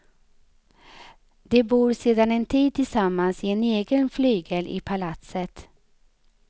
De bor sedan en tid tillsammans i en egen flygel i palatset.